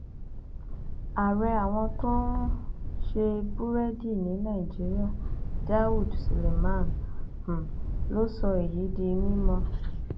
ààrẹ àwọn tó ń um ṣe búrẹdì ní nàìjíríà daud sülemman um ló sọ èyí di mímọ